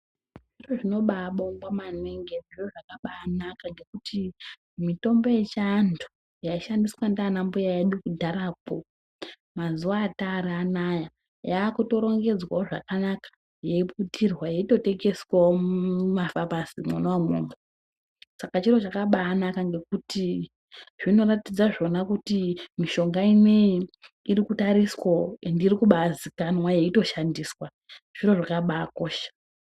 Zviro zvinobabongwa maningi ende zviro zvakanaka ngekuti mitombo yechiantu yaishandiswa ndiana mbuya edu kudharakwo mazuwa Atari anoya yakutoringedzwawo zvakanaka yeiputirwa yeitotengeswawo mumafamasi mwona umwomwo saka chiro chakabanaka ngekuti zvinoratidza zvona kuti mishonga ineyi irikutariswawo ende irikubazikwnwa yeitoshandiswa zviro zvakabakisha.